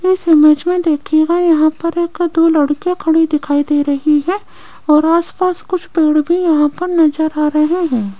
इस इमेज में देखिएगा यहां पर एक दो लड़की खड़ी देख रही हैं और आसपास कुछ पेड़ भी यहां पर नजर आ रहे हैं।